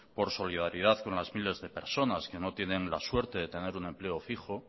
por solidaridad con las miles de personas que no tienen la suerte de tener un empleo fijo